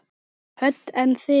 Hödd: En þig?